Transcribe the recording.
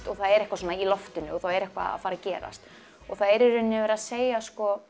og það er eitthvað svona í loftinu það er eitthvað að fara að gerast og það er í rauninni verið að segja